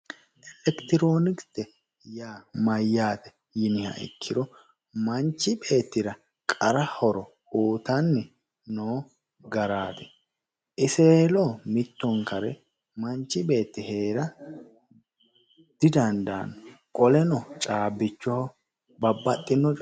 Elekitiroonikise yaa mayyaate yiniha ikkiro manchi beettira qara horo uyiitanni noo garaati iseweelo mittonkare manchi beetti heera didaanno qoleno caabbicho babbaxxino coye